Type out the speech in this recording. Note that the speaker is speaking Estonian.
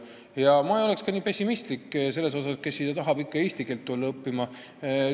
Ja ma ei oleks nii pessimistlik selles osas, et kes siia ikka tahab eesti keelt õppima tulla.